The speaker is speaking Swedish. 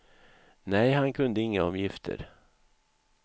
Nej, han kunde inget om gifter.